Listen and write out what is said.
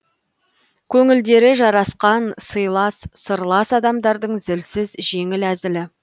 көңілдері жарасқан сыйлас сырлас адамдардың зілсіз жеңіл әзілі